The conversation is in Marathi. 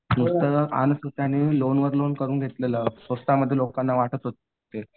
नुसतं लोनवर लोन करून घेतलेलं. स्वस्तामध्ये लोकांना वाटत होते.